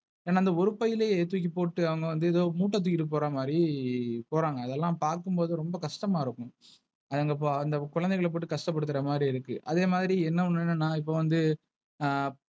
என அந்த ஒரு பையிலேயே தூக்கு போட்டு அவங்க வந்து ஏதோ முட்ட தூக்கிட்டு போறமாரி போறாங்க. அதெல்லாம் பார்க்கும்போது ரொம்ப கஷ்டமா இருக்கு. அத்தேங்க அந்த குழந்தைங்கல போட்டு கஷ்டப்படுத்துற மாதிரி இருக்கு. அதே மாதிரி என்னஒன்னுந இப்போ வந்து.